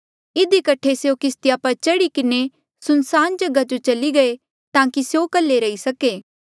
इधी कठे स्यों किस्तिया पर चढ़ी किन्हें सुनसान जगहा जो चली गये ताकि स्यों कल्हे रही सके